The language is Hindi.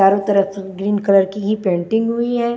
चारों तरफ ग्रीन कलर की ही पेंटिंग हुई है।